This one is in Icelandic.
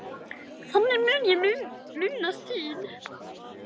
Þannig mun ég minnast þín.